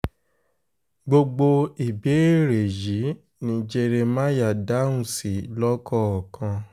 gbogbo ìbéèrè yìí ni jeremáyà dáhùn sí lọ́kọ̀ọ̀kan